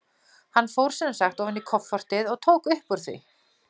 Hann fór sem sagt ofan í koffortið og tók upp úr því.